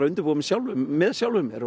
að undirbúa mig sjálfur með sjálfum mér